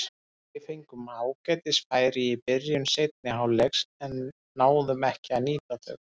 Við fengum ágætis færi í byrjun seinni hálfleiks en náðum ekki að nýta þau.